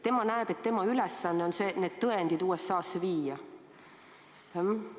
Tema näeb, et tema ülesanne on need tõendid USA-sse viia.